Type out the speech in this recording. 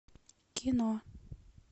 кино